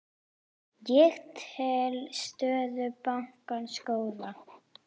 Ég tel stöðu bankans góða.